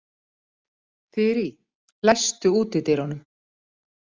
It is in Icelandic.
Þyrí, læstu útidyrunum.